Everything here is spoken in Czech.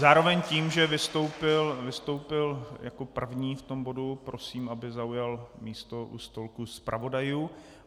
Zároveň tím, že vystoupil jako první v tom bodu, prosím, aby zaujal místo u stolku zpravodajů.